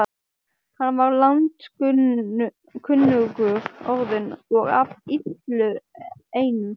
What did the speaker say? Hann var landskunnur orðinn og af illu einu.